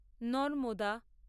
Narmada